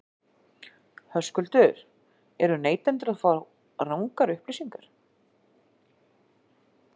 Höskuldur: Eru neytendur þá að fá rangar upplýsingar?